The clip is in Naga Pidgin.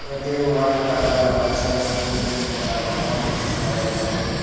yadae white colour laka church building ekta dangor diki pai asae.